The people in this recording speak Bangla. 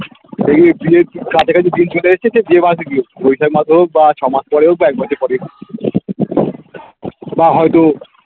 কাছাকাছি ঢিল ছুঁড়ে এসেছে যে মাসে বিয়ে হোক বা ছ মাস পরেও বা এক বছর পরেই হোক বা হয়তো